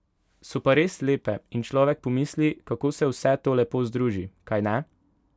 So pa res lepe in človek pomisli, kako se vse to lepo združi, kajne?